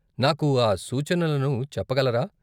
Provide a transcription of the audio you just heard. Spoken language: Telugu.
నాకు ఆ సూచనలను చెప్పగలరా?